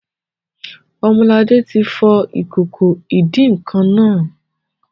Ọmọlará ti fọ ìkòkò ìdín-nǹkan naa